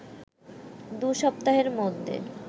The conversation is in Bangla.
দু’সপ্তাহের মধ্যে